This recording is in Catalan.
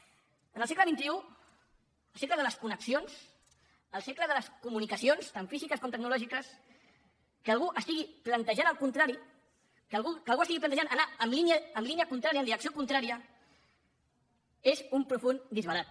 en el segle xxide les comunicacions tant físiques com tecnològiques que algú estigui plantejant el contrari que algú estigui plantejant anar en línia contrària en direcció contrària és un profund disbarat